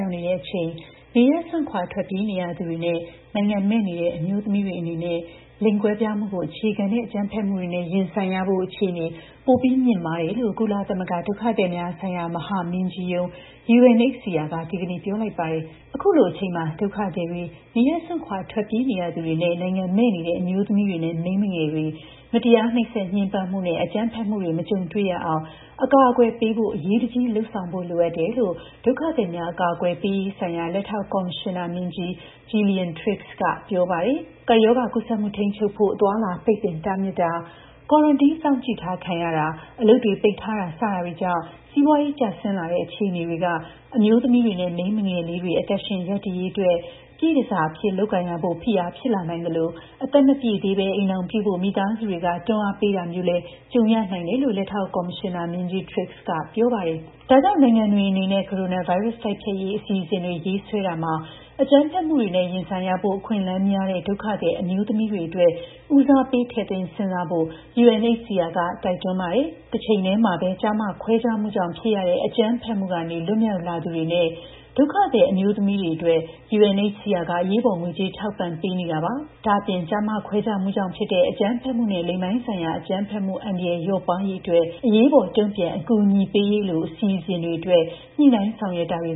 ရောက်နေတဲ့ အချိန် နေရပ်စွန့်ခွါထွက်ပြေးနေရသူတွေနဲ့ နိုင်ငံမဲ့နေတဲ့ အမျိုးသမီးတွေ အနေနဲ့ လိင်ကွဲပြားမှုကို အခြေခံတဲ့ အကြမ်းဖက်မှုတွေနဲ့ ရင်ဆိုင်ရဖို့ အခြေအနေပိုပြီး မြင့်မားတယ်လို့ ကုလသမဂ္ဂ ဒုက္ခသည်များ ဆိုင်ရာ မဟာမင်းကြီးရုံး (UNHCR) က ဒီကနေ့ ပြောလိုက်ပါတယ်။ အခုလို အချိန်မှာ ဒုက္ခသည်တွေ၊ နေရပ်စွန့်ခွါထွက်ပြေးနေရသူတွေ နဲ့ နိုင်ငံမဲ့နေတဲ့ အမျိုးသမီးတွေနဲ့ မိန်းမငယ်တွေ မတရား နှိပ်စက်ညှင်းပန်းမှုနဲ့ အကြမ်းဖက်မှုတွေ မကြုံတွေ့ရအောင် အကာအကွယ်ပေးဖို့ အရေးတကြီးလုပ်ဆောင်ဖို့ လိုအပ်တယ်လို့ ဒုက္ခသည်များ အကာအကွယ်ပေးရေး ဆိုင်ရာ လက်ထောက် ကော်မရှင်နာမင်းကြီး Gillian Triggs က ပြောပါတယ်။ ကပ်ရောဂါကူးစက်မှု ထိန်းချုပ်ဖို့ အသွားအလာပိတ်ပင်တားမြစ်တာ၊ quarantine စောင့်ကြည့်ထားခံရတာ၊ အလုပ်တွေပိတ်ထားတာ စတာတွေကြောင့် စီးပွါးရေး ကျဆင်းလာတဲ့ အခြေအနေတွေက အမျိုးသမီးတွေနဲ့ မိန်းမငယ်လေးတွေ အသက်ရှင်ရပ်တည်ရေးအတွက် ပြည့်တန်ဆာ အဖြစ်လုပ်ကိုင်ရဖို့ဖိအား ဖြစ်လာနိုင်သလို အသက်မပြည့်သေးပဲ အိမ်ထောင်ပြုဖို့ မိသားစုတွေက တွန်းအားပေးတာ မျိုးလည်းကြုံရနိုင်တယ်လို့ လက်ထောက် ကော်မရှင်နာမင်းကြီး Triggs က ပြောပါတယ်။ ဒါကြောင့် နိုင်ငံတွေအနေနဲ့ ကိုရိုနာဗိုင်းရပ်စ် တိုက်ဖျက်ရေး အစီအစဉ်တွေ ရေးဆွဲရာမှာ အကြမ်းဖက်မှုတွေနဲ့ ရင်ဆိုင်ရဖို့ အခွင့်အလမ်းများတဲ့ ဒုက္ခသည်အမျိုးသမီးတွေအတွက် ဉီးစားပေး ထည့်သွင်းစဉ်းစားဖို့ ကုလသမဂ္ဂ (UNHCR) က တိုက်တွန်းပါတယ်။ တချိန်ထဲမှာပဲ ကျား၊ မ ခွဲခြားမှုကြောင့် ဖြစ်ရတဲ့ အကြမ်းဖက်မှု ကနေ လွတ်မြောက်လာသူတွေနဲ့ ဒုက္ခသည်အမျိုးသမီးတွေအတွက် (UNHCR) က အရေးပေါ် ငွေကြေး ထောက်ပံ့ပေးနေတာပါ၊ ဒ့ါအပြင် အရေးပေါ် တုံ့ပြန် အကူအညီပေးရေး အပါအဝင် ကျား၊မ ခွဲခြားမှုကြောင့်ဖြစ်တဲ့ အကြမ်းဖက်မှုနဲ့ လိင်ပိုင်းဆိုင်ရာ အကြမ်းဖက်မှု အန္တရာယ် လျော့ပါးသွားစေရေးအတွက် ညှိနှိုင်းဆောင်ရွက်တာတွေ